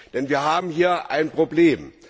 Denn wir haben hier ein Problem.